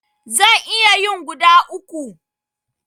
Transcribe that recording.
Zan iya yin guda uku.